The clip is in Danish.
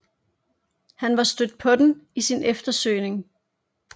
Han var stødt på den i sin eftersøgning